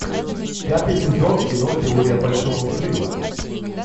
пятый сезон кино теория большого взрыва